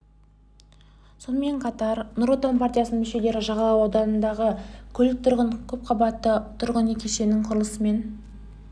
сонымен қатар нұр отан партиясының мүшелері жағалау ауданындағы көлік тұрағы бар көпқабатты тұрғын үй кешенінің құрылысымен